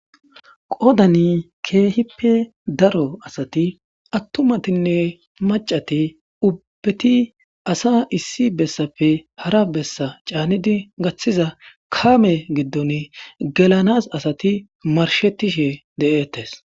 Qoodan keehippe daro asati attumatinne maccati ubbati asa issi bessape hara bessa caanidi gaththiza kaame giddon gelanas asati marshetishe de'ettees.